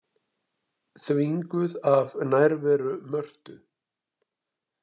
Þvinguð af nærveru Mörtu.